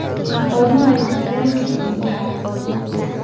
goorma ayuu tareenka xiga u baxayaa nairobi